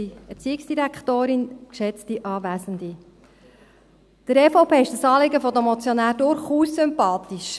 Der EVP ist das Anliegen der Motionäre durchaus sympathisch.